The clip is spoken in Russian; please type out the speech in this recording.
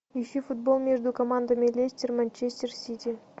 ищи футбол между командами лестер манчестер сити